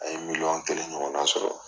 An ye miliyɔn kelen ɲɔgɔnna sɔrɔ.